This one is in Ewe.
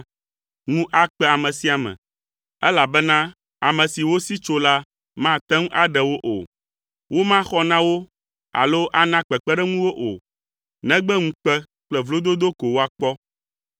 ŋu akpe ame sia ame, elabena ame si wosi tso la mate ŋu aɖewo o. Womaxɔ na wo alo ana kpekpeɖeŋu wo o, negbe ŋukpe kple vlododo ko woakpɔ.”